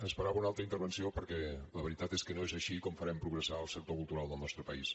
esperava una altra intervenció perquè la veritat és que no és així com farem progressar el sector cultural del nostre país